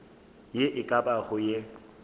ye e ka bago ye